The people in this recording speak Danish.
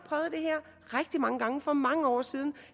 rigtig mange gange for mange år siden